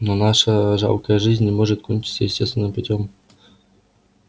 но наша жалкая жизнь не может кончиться естественным путём